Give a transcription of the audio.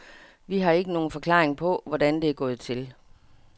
Vi har ikke nogen forklaring på, hvordan det er gået til.